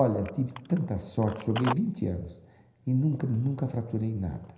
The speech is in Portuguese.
Olha, tive tanta sorte, joguei vinte anos e nunca, nunca fraturei nada.